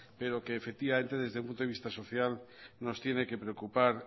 pero que efectivamente desde un punto de vista social nos tiene que preocupar